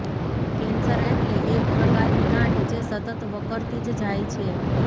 cancer એટલે એક પ્રકારની ગાંઠ જે સતત વકરતી જ જાય છે